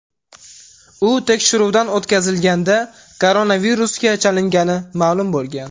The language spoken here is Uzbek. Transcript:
U tekshiruvdan o‘tkazilganda koronavirusga chalingani ma’lum bo‘lgan.